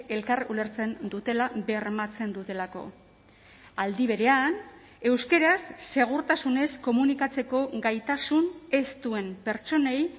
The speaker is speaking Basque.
elkar ulertzen dutela bermatzen dutelako aldi berean euskaraz segurtasunez komunikatzeko gaitasun ez duen pertsonei